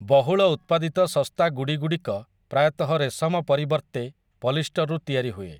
ବହୁଳ ଉତ୍ପାଦିତ ଶସ୍ତା ଗୁଡ଼ିଗୁଡ଼ିକ ପ୍ରାୟତଃ ରେଶମ ପରିବର୍ତ୍ତେ ପଲିଷ୍ଟରରୁ ତିଆରି ହୁଏ ।